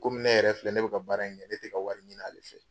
KOmi ne yɛrɛ filɛ ne bi ka baara in kɛ ne tɛ ka wari ɲini ale fɛ.